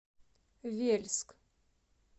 вельск